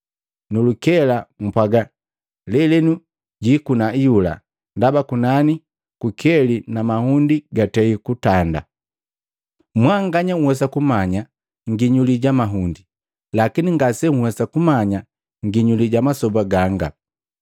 Nulukela mpwaga, ‘Lelenu jiikuna hiyula, ndaba kunani kukeli na mahundi gatei kutanda.’ Mwanganya nhwesa kumanya nginyuli ja mahundi, lakini ngasenhwesa kumanya nginyuli ja masoba ganga.